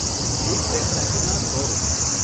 એક પ્લેટ મેગીના સો રૂપિયા.